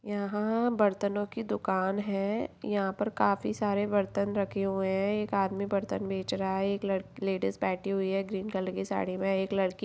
यहाँ बर्तनों की दुकान है यहाँ पर काफी सारे बर्तन रखे हुए हैं एक आदमी बर्तन बेच रहा है एक लड़ लेडीज़ बैठी हुई है ग्रीन कलर की साड़ी में एक लड़की --